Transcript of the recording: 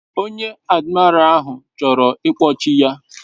Onye admira ahu choro ikpochi ya